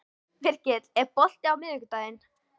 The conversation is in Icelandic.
Virgill, er bolti á miðvikudaginn?